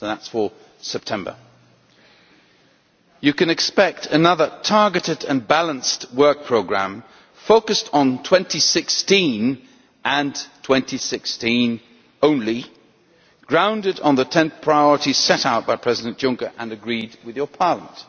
So that is for September. You can expect another targeted and balanced work programme, focused on 2016 and 2016 only grounded in the 10 priorities set out by President Juncker and agreed with your Parliament.